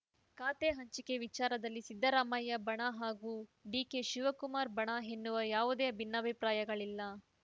ಖಾತೆ ಹಂಚಿಕೆ ವಿಚಾರದಲ್ಲಿ ಸಿದ್ಧರಾಮಯ್ಯ ಬಣ ಹಾಗೂ ಡಿಕೆಶಿವಕುಮಾರ್‌ ಬಣ ಎನ್ನುವ ಯಾವುದೇ ಭಿನ್ನಾಭಿಪ್ರಾಯಗಳಿಲ್ಲ